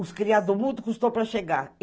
Os Criados do Mundo custou para chegar.